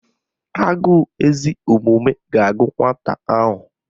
Agụụ ezi omume ga-agụ nwata ahụ